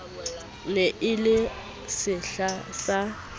ne e le sehla sa